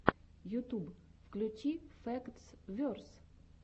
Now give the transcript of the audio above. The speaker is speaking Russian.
ютуб включи фэктс верс